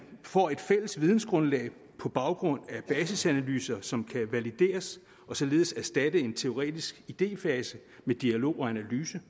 får et fælles videngrundlag på baggrund af basisanalyser som kan valideres og således erstatte en teoretisk idéfase med dialog og analyse